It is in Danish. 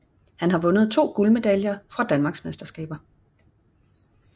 Han har vundet to guldmedaljer fra danmarksmesterskaber